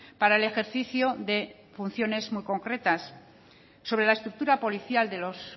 para el ejercicio de funciones muy concretas sobre la estructura policial de los